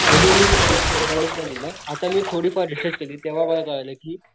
म्हणून मी त्याला जास्त इम्पॉर्टन्स नाही दिल आता मी थोडं फार रिसर्च केली तेव्हा मला कळलं कि,